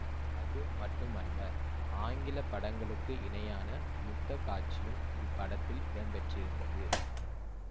அது மட்டுமல்ல ஆங்கில படங்களுக்கு இணையான முத்த காட்சியும் இப்படத்தில் இடம்பெற்றிருந்தது